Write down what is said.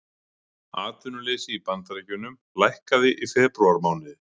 Atvinnuleysi í Bandaríkjunum lækkaði í febrúarmánuði